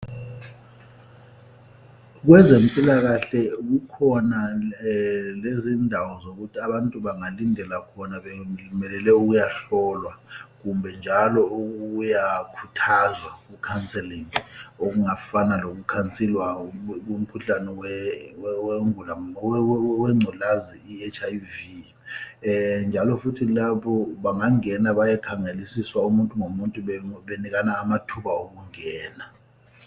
Kwezempilakahle kukhona lezindawo zokuthi abantu bangalindela khona bemelele ukuyahlolwa kumbe njalo ukuyakhuthazwa ku counselling okungafana lokukhanselwa umkhuhlane wengculazi i HIV, njalo futhi labo bangangena bayekhangelisiswa umuntu ngomuntu benikana amathuba okungena.